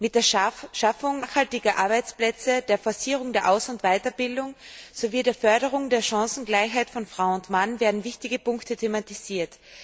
Mit der Schaffung nachhaltiger Arbeitsplätze, der Forcierung der Aus und Weiterbildung sowie der Förderung der Chancengleichheit von Frau und Mann werden wichtige Punkte thematisiert.